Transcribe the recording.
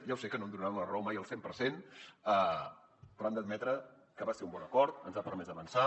ja ho sé que no em donaran la raó mai al cent per cent però han d’admetre que va ser un bon acord ens ha permès avançar